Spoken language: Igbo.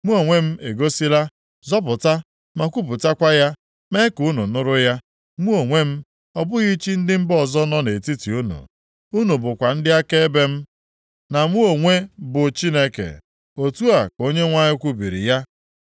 Mụ onwe m egosila, zọpụta ma kwupụtakwa ya, mee ka unu nụrụ ya, mụ onwe m, ọ bụghị chi ndị mba ọzọ nọ nʼetiti unu. Unu bụkwa ndị akaebe m, na mụ onwe bụ Chineke,” otu a ka Onyenwe anyị kwubiri ya.